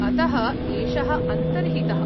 अतः एषः अन्तर्हितः।